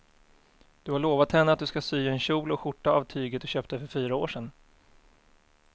Du har lovat henne att du ska sy en kjol och skjorta av tyget du köpte för fyra år sedan.